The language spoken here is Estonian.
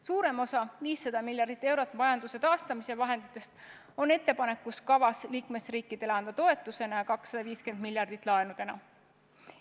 Suurem osa, 500 miljardit eurot majanduse taastamise vahenditest on kavas anda liikmesriikidele toetusena ja 250 miljardit laenudena.